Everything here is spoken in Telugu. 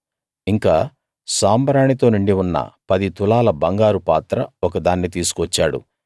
ఇంకా సాంబ్రాణి తో నిండి ఉన్న పది తులాల బంగారు పాత్ర ఒకదాన్ని తీసుకువచ్చాడు